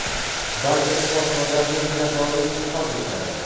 barcha shifokorlarga minnatdorlik izhor etgan.